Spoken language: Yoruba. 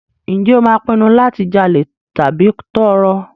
Ǹjẹ́ o máa pinnu láti jalè tàbí tọrọ?